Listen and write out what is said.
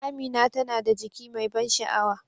Amina tana da jiki mai ban sha'awa.